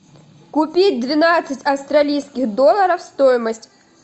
купить двенадцать австралийских долларов стоимость